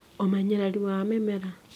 ũmenyererĩ wa mĩmera